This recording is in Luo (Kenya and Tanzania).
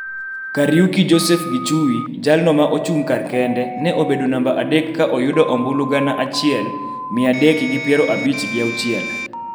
Kariuki Joseph Gichui, jalno ma ochung' kar kende, ne obedo namba adek ka oyudo ombulu gana achiel, mia adek gi piero abich gi auchiel.